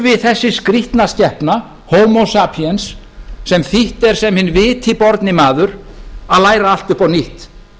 þurfi þessi skrýtna skepna homo sapiens sem þýtt er sem hinn viti borni maður að læra allt upp á nýtt